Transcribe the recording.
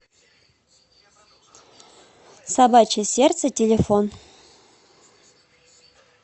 собачье сердце телефон